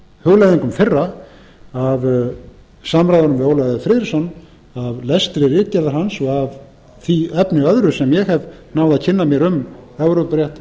hugleiðingum þeirra af samræðunum við ólaf e friðriksson af lestri ritgerðar hans og af því efni öðru sem ég hef náð að kynna mér um evrópurétt